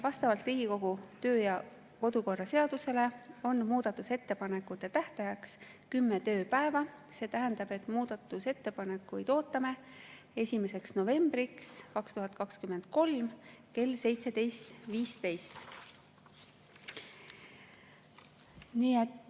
Vastavalt Riigikogu kodu‑ ja töökorra seadusele on muudatusettepanekute tähtajaks kümme tööpäeva, see tähendab, et muudatusettepanekuid ootame 1. novembriks 2023 kell 17.15.